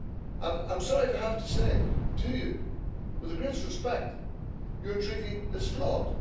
And I'm sorry to have to say it to you, but, with the greatest respect, your Treaty is flawed.